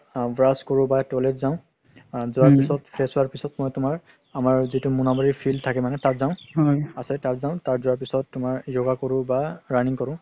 brush কৰো বা toilet যাও আ যোৱাৰ পিছত fresh হুৱাৰ পিছত মই তুমাৰ আমাৰ যিতো মনাবাৰি field থাকে মানে তাত যাও তাত যাও তাত যোৱাৰ পিছত তুমাৰ yoga কৰো বা running কৰো